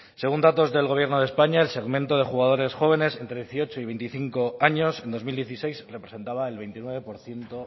según datos del gobierno de españa el segmento de jugadores jóvenes entre dieciocho y veinticinco años en dos mil dieciséis representaba el veintinueve por ciento